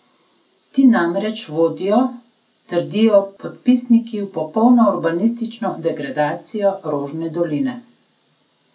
Ti namreč vodijo, trdijo podpisniki, v popolno urbanistično degradacijo Rožne doline.